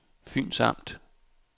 Fyns Amt